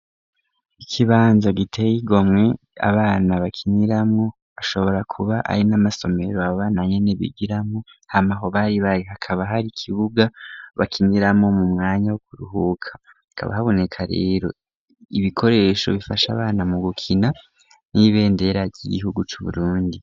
Ikibanza giteye igomwe abana bakiniramwo, ashobora kuba ari n'amasomero abo bana nyene bigiramwo, hama aho bari bari hakaba hari ikibuga bakiniramwo mu mwanya wo kuruhuka, hakaba haboneka rero ibikoresho bifasha abana mu gukina n'ibendera ry'igihugu c'Uburundi.